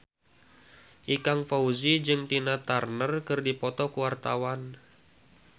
Ikang Fawzi jeung Tina Turner keur dipoto ku wartawan